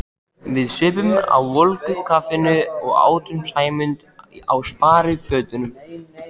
Við supum á volgu kaffinu og átum Sæmund á sparifötunum.